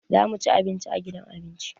Za mu ci abinci a gidan abinci.